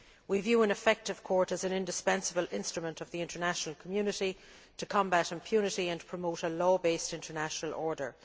The Commission views an effective court as an indispensable instrument of the international community to combat impunity and to promote a law based international order.